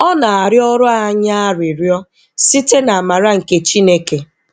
Ọ na-arịọrụ anyị arịrịọ site n'amara nke Chineke.